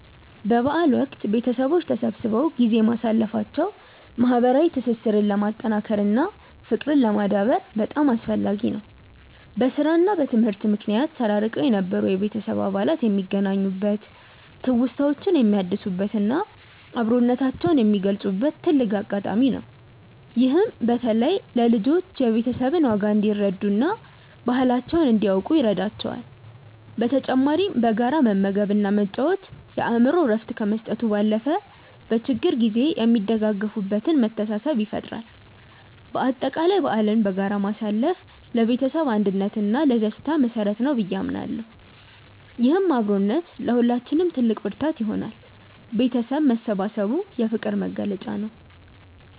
በበዓል ወቅት ቤተሰቦች ተሰብስበው ጊዜ ማሳለፋቸው ማህበራዊ ትስስርን ለማጠናከር እና ፍቅርን ለማዳበር በጣም አስፈላጊ ነው። በስራ እና በትምህርት ምክንያት ተራርቀው የነበሩ የቤተሰብ አባላት የሚገናኙበት፣ ትውስታዎችን የሚያድሱበት እና አብሮነታቸውን የሚገልጹበት ትልቅ አጋጣሚ ነው። ይህም በተለይ ለልጆች የቤተሰብን ዋጋ እንዲረዱ እና ባህላቸውን እንዲያውቁ ይረዳቸዋል። በተጨማሪም በጋራ መመገብ እና መጫወት የአእምሮ እረፍት ከመስጠቱ ባለፈ፣ በችግር ጊዜ የሚደጋገፉበትን መተሳሰብ ይፈጥራል። በአጠቃላይ በዓልን በጋራ ማሳለፍ ለቤተሰብ አንድነት እና ለደስታ መሰረት ነው ብዬ አምናለሁ። ይህም አብሮነት ለሁላችንም ትልቅ ብርታት ይሆናል። ቤተሰብ መሰባሰቡ የፍቅር መግለጫ ነው።